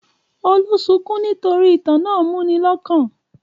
Olú sunkún nítorí ìtàn náà múni lọ́kàn?